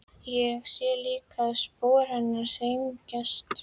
Sé líka að spor hennar þyngjast.